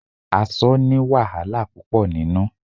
Aṣọ ni wàhálà púpò nínú.